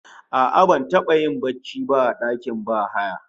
A'a, ban taba yin barci ba a dakin bahaya